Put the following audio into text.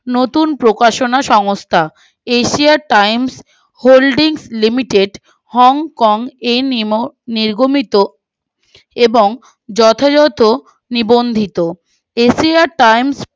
নতুন প্রকাশনা সংস্থা asia times holdings limited hong kong in emo নির্গমিত এবং যথযত নিবন্ধিত asia times